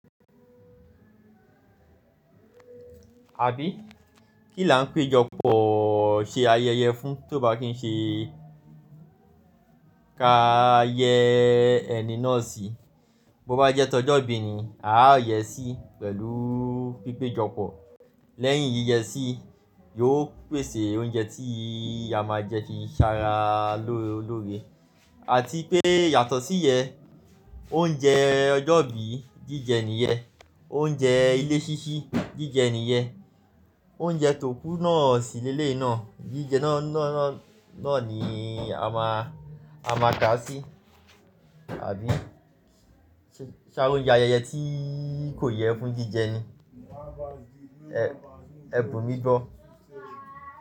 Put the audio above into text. Àbí kí là ń péjọpọ̀ ṣe ayẹyẹ fún ti o bá kín ṣe ka yẹ ẹni náà sí. Bo bá jẹ́ tọ́jọ́ bí ni a yẹ sí pẹ̀lú pípéjọpọ̀. Lẹ́yìn yíyẹsí yóò pèsè oúnjẹ tí a máa jẹ ti sá ra lóore àti pé yàtọ̀ sí yẹ oúnjẹ ọjọ́ bí jíjẹ nìyẹn, oúnjẹ ilé síṣí jíjẹ nìyẹn, oúnjẹ tókú náà sí lé leyi náà jíjẹ náà ni a máa ka sí. Ṣé áari oúnjẹ ayẹyẹ tí kò yẹ fún jíjẹ ni? Ẹ bù mí gbọ́.